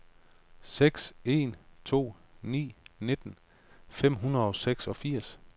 seks en to ni nitten fem hundrede og seksogfirs